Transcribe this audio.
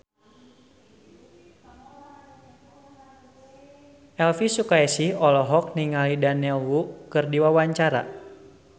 Elvi Sukaesih olohok ningali Daniel Wu keur diwawancara